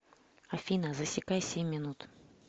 афина засекай семь минут